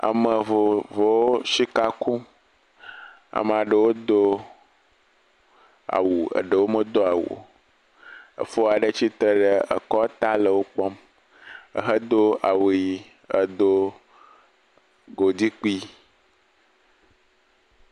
Ame vovowo sika kum. Ame aɖewo do awu, ɖewo medo awu o. Efo aɖe tsi tre ɖe kɔ ta le wo kpɔm ehedo awu ʋi edo godi kpui.